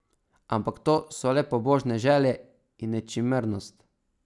Ampak to so le pobožne želje in nečimrnost.